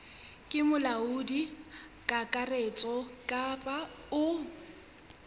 ke molaodi kakaretso kapa o